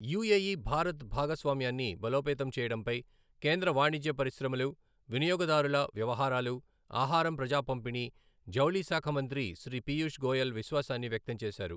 UAE Bharat భాగస్వామ్యాన్ని బలోపేతం చేయడంపై కేంద్ర వాణిజ్య పరిశ్రమలు, వినియోగదారుల వ్యవహారాలు, ఆహారం ప్రజాపంపిణీ, జౌళిశాఖ మంత్రి శ్రీ పీయూష్ గోయల్ విశ్వాసాన్ని వ్యక్తం చేశారు.